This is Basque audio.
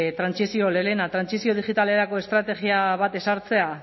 lehena trantsizio digitalerako estrategia bat ezartzea